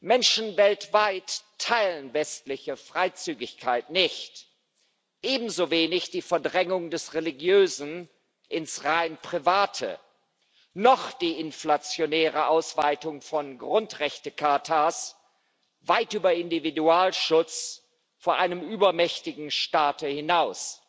Menschen weltweit teilen westliche Freizügigkeit nicht, ebenso wenig die Verdrängung des Religiösen ins rein Private oder die inflationäre Ausweitung von Grundrechtechartas weit über Individualschutz vor einem übermächtigen Staate hinaus.